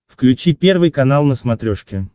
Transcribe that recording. включи первый канал на смотрешке